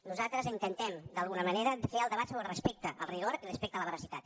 nosaltres intentem d’alguna manera fer el debat sobre el respecte al rigor i respecte a la veracitat